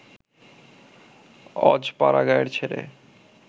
অজ পাড়াগাঁয়ের ছেলে